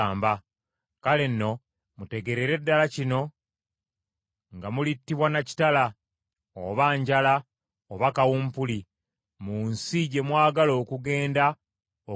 Kale nno mutegeerere ddala kino nga mulittibwa na kitala, oba njala oba kawumpuli mu nsi gye mwagala okugenda okusengamu.”